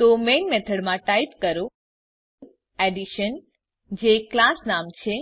તો મેઇન મેથડમાં ટાઈપ કરો એડિશન જે ક્લાસ નામ છે